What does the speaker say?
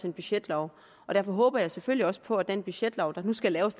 en budgetlov og derfor håber jeg selvfølgelig også på at den budgetlov der nu skal laves